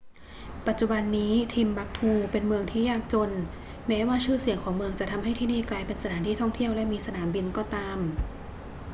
ปัจจุบันนี้ timbuktu เป็นเมืองที่ยากจนแม้ว่าชื่อเสียงของเมืองจะทำให้ที่นี่กลายเป็นสถานที่ท่องเที่ยวและมีสนามบินก็ตาม